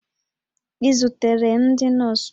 Ị zutere ndị nọọsụ?